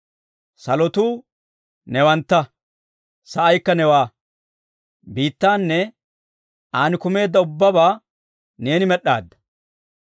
Salotuu newantta; sa'aykka newaa; biittaanne an kumeedda ubbabaa neeni med'aadda.